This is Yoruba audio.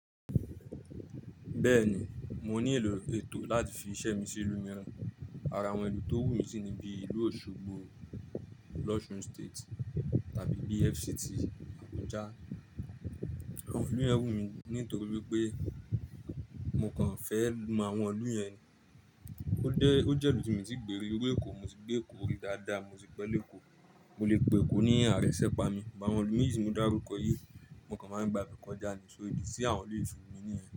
Bẹ́ẹ̀ni, mo ní ìlò ètò láti fi iṣẹ́ mi sí ìlú mìíràn. Ara awọn ìlú tó wù mí sì ni bí ìlú Òṣogbo, l'Osun State tàbí bí FCT Abuja. Àwọn ìlú yẹn wù mí nítorí pé mo kàn fẹ́ máa wọ́n ìlú yẹn. Ó dé, ó jẹ́ ìlú tí mo ti gbèrè rí, mo ti gbé Èkó rí dáadáa, mo ti gbẹ́ Èkó, mo lè pe Èkó ní ààrẹ sépa mi, bàwọn ìlú méjì tí mo dárúkọ yìí, mo kàn máa ń gba ibè kọjá ní so ìdí tí àwọn ìlú fi wù mí nìyẹn.